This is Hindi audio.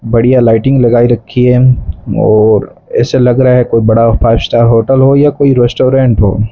बढ़िया लाइटिंग लगाई रखी है और ऐसे लग रहा है कोई बड़ा फाइव स्टार होटल हो या कोई रेस्टोरेंट हो।